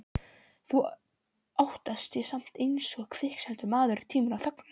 Þau óttast ég samt einsog kviksettur maður tímann og þögnina.